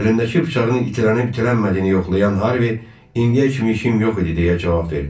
Əlindəki bıçağının itilənib-itilənmədiyini yoxlayan Harvi indiyə kimi işim yox idi deyə cavab verdi.